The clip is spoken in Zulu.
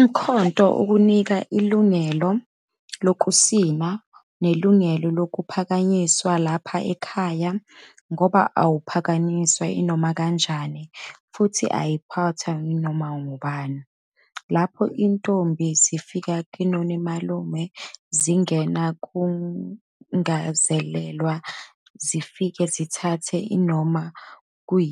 Umkhonto ukunika ilungelo lokusina, nelungelo lokuphakanyiswa lapha ekhaya ngoba awuphakanyiswa inomakanjani futhi awuphathwa yinoma ngubane. Lapho intombi zifika koninalume, zingena kungazelelwe zifike zithathe noma